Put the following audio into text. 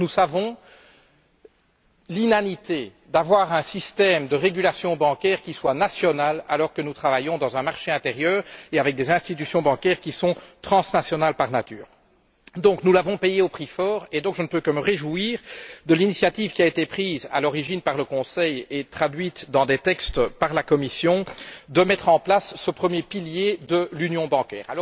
Nous savons donc l'inanité d'avoir un système de régulation bancaire qui soit national, alors que nous travaillons dans un marché intérieur et avec des institutions bancaires qui sont transnationales par nature. Ainsi, nous avons payé le prix fort, et je ne peux donc que me réjouir de l'initiative qui a été prise à l'origine par le Conseil et traduite dans des textes par la Commission, en vue de mettre en place ce premier pilier de l'union bancaire.